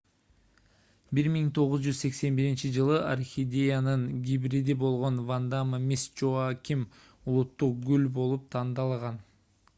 1981-жылы орхидеянын гибриди болгон ванда мисс джоаким улуттук гүл болуп тандалган